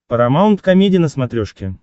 парамаунт комеди на смотрешке